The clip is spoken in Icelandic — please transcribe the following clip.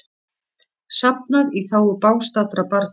Safnað í þágu bágstaddra barna